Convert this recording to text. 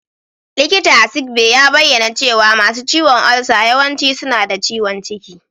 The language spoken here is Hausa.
Likita a Sick Bay ya bayyana cewa masu ciwon ulcer yawanci suna da ciwon ciki.